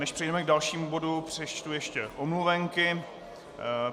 Než přejdeme k dalšímu bodu, přečtu ještě omluvenky.